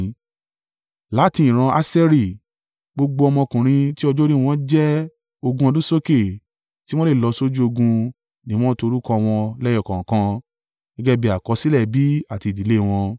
Láti ìran Aṣeri, gbogbo ọmọkùnrin tí ọjọ́ orí wọn jẹ́ ogún ọdún sókè, tí wọ́n le lọ sójú ogun ni wọ́n to orúkọ wọn lẹ́yọ kọ̀ọ̀kan gẹ́gẹ́ bí àkọsílẹ̀ ẹbí àti ìdílé wọn.